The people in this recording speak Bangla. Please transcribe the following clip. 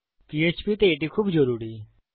পিএচপি তে এটি খুবই জরুরি